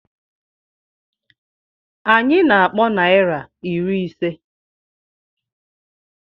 Anyị na-akpọ naira iri ise.